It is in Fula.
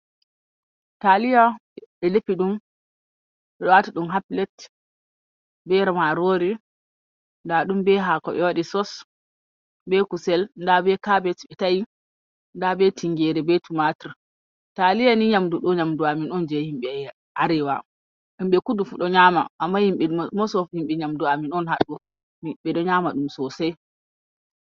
Taliya ɓe defiiɗum ɓe watiɗum ha pilet, ber marori nda ɗum be haako ɓe waɗi sos, be kuusel nda be kabech ɓe ta'i, nda be tingere be tumatir. Taliya ni yamdu ɗo nyamdu amen on je himɓe arewa, himɓe kudu fu ɗo nyaama amma himɓi mos of himɓe yamdu amin on ha ɗo, ɓe ɗo nyaama ɗum sosai.